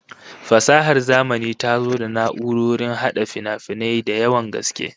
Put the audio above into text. Fasahar zamani ta zo da na'urrorin hada finafinai da yawan gaske